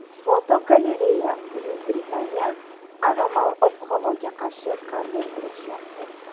Fotogalereya: Buyuk Britaniya anomal ob-havoga qarshi qanday kurashyapti?.